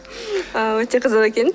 өте қызық екен